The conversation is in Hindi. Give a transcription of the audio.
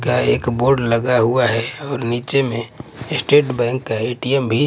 का एक बोर्ड लगा हुआ है और नीचे में स्टेट बैंक का ए_टी_एम भी--